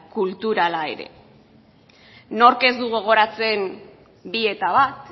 kulturala ere nork ez du gogoratzen bi eta bat